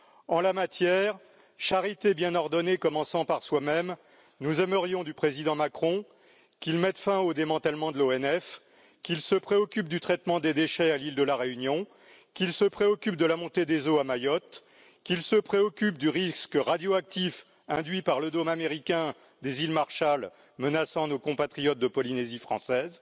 En la matière, charité bien ordonnée commençant par soi même, nous aimerions du président Macron qu'il mette fin au démantèlement de l'ONF, qu'il se préoccupe du traitement des déchets à l'île de la Réunion, qu'il se préoccupe de la montée des eaux à Mayotte, qu'il se préoccupe du risque radioactif induit par le dôme américain des îles Marshall menaçant nos compatriotes de Polynésie française,